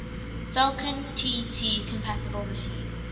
falcon tt compatible machines